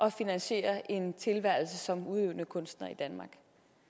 at finansiere en tilværelse som udøvende kunstner i danmark